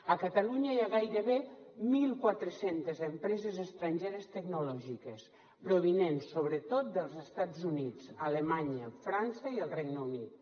a catalunya hi ha gairebé mil quatre cents empreses estrangeres tecnològiques provinents sobretot dels estats units alemanya frança i el regne unit